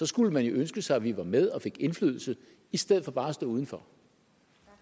skulle man jo ønske sig at vi var med og fik indflydelse i stedet for bare at stå uden for